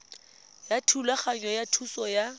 ya thulaganyo ya thuso ya